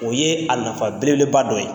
O ye a nafa belebeba dɔ ye.